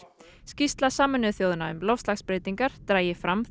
skýrsla Sameinuðu þjóðanna um loftslagsbreytingar dragi fram